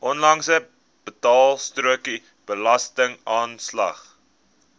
onlangse betaalstrokie belastingaanslag